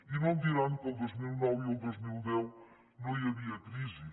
i no em diran que el dos mil nou i el dos mil deu no hi havia crisi